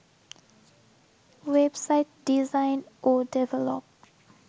web site design ও develop